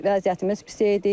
Vəziyyətimiz pis idi.